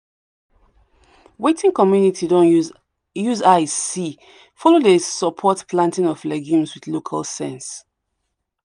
wetin community don use use eyes see follow dey support planting of legumes with local sense.